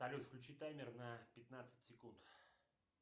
салют включи таймер на пятнадцать секунд